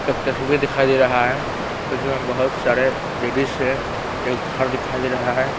एक तस्वीर दिखाई दे रहा है उसमें बहोत सारे लेडिज हैं एक घर दिखाई दे रहा है।